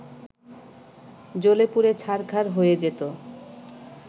জ্বলেপুড়ে ছাড়খার হয়ে যেত